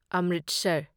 Amritsar